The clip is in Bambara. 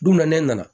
Don min na ne nana